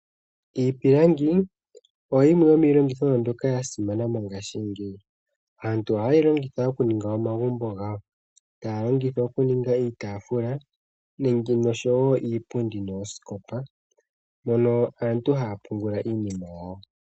Iipilangi oyo yimwe yomiilandithomwa mbyoka yasimana mongashingeyi . Aantu ohayeyi longitha okuninga omagumbo gawo, taya longitha okuninga iitaafula, iipundi oshowoo oosikopa mono aantu haya pungula iinima yawo.